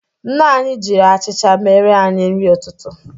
Nne anyị jiri achịcha mere anyị nri ụtụtụ.